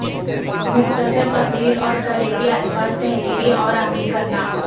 مختصر تقریر اور کلیدی الفاظ تحریری اور عملی کرنا